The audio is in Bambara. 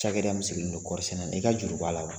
Cakɛda min sigilen don kɔri sɛnɛ na, i ka juru b'a la wa ?